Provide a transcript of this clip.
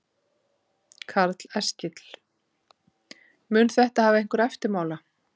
Karl Eskil: Mun þetta hafa einhverja eftirmála?